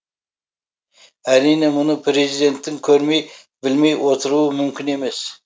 әрине мұны президенттің көрмей білмей отыруы мүмкін емес